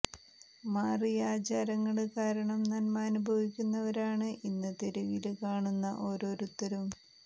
മാറിയ ആചാരങ്ങള് കാരണം നന്മ അനുഭവിക്കുന്നവരാണ് ഇന്ന് തെരുവില് കാണുന്ന ഓരോരുത്തരും